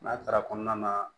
N'a taara kɔnɔna na